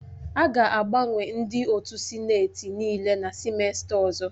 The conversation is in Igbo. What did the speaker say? A ga-agbanwe ndị otu sineti nịịle na sịmesta ọzọ